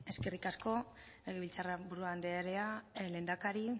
eskerrik asko legebiltzarburu anderea lehendakari